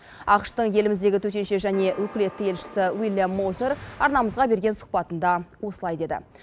ақш тың еліміздегі төтенше және өкілетті елшісі уильям мозер арнамызға берген сұхбатында осылай деді